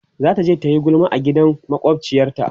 zataje tayi gulma a gidan makwafciyar ta